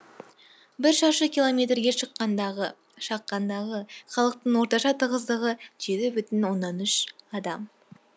бір шаршы километрге шаққандағы халықтың орташа тығыздығы жеті бүтін оннан үш адам